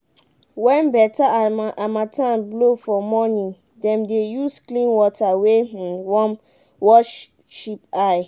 when better harmattan blow for morning dem dey use clean water wey um warm wash sheep eyes.